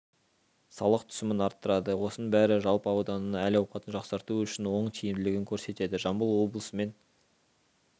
салық түсімін арттырады осының бәрі жалпы ауданның әл-ауқатын жақсарту үшін оң тиімділігін көрсетеді жамбыл облысымен